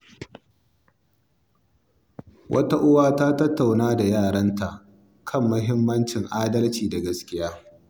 Wata uwa ta tattauna da ‘yarta kan mahimmancin adalci da gaskiya.